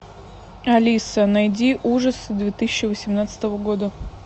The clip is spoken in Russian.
алиса найди ужасы две тысячи восемнадцатого года